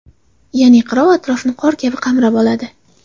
Ya’ni qirov atrofni qor kabi qamrab oladi.